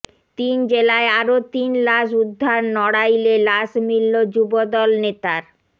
তিন জেলায় আরও তিন লাশ উদ্ধার নড়াইলে লাশ মিলল যুবদল নেতার